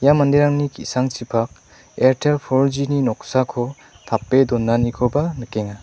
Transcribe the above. ia manderangni ki·sangchipak airtel for G ni noksako tape donanikoba nikenga.